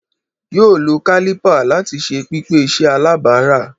yoo lo caliper lati ṣe pipe iṣẹ alabara